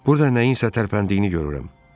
Burda nəyinsə tərpəndiyini görürəm.